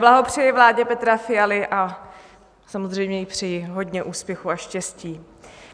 Blahopřeji vládě Petra Fialy a samozřejmě jí přeji hodně úspěchů a štěstí.